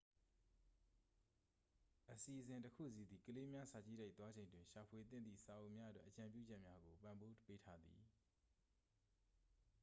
အစီအစဉ်တစ်ခုစီသည် ကလေးများ စာကြည့်တိုက် သွားချိန်တွင် ရှာဖွေသင့်သည့် စာအုပ်များအတွက် အကြံပြုချက်များကို ပံ့ပိုးပေးထားသည်